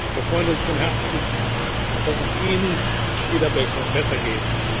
Wir freuen uns von Herzen, dass es Ihnen wieder besser geht!